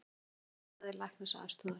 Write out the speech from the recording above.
Elgur leitaði læknisaðstoðar